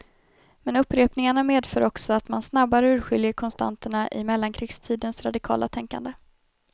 Men upprepningarna medför också att man snabbare urskiljer konstanterna i mellankrigstidens radikala tänkande.